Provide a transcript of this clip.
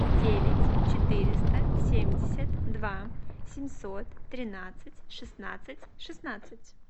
девять четыреста семьдесят два семьсот тринадцать шестнадцать шестнадцать